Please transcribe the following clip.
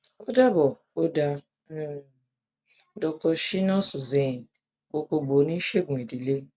o dabọ o da um dr shinas hussain gbogbogbo onisegun idile